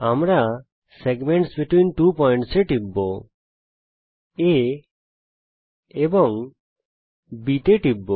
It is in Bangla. আমরা এখানে সেগমেন্টস বেতভীন ত্ব points এ টিপব এবং A এবং B তে ক্লিক করব